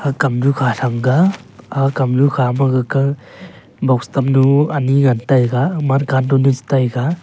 aga kamnu kha chang a aga kamnu kha ma gaga box tam nu ani ngan taiga --